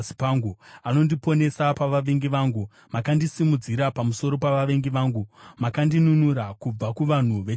anondiponesa pavavengi vangu. Makandisimudzira pamusoro pavavengi vangu. Makandinunura kubva kuvanhu vechisimba.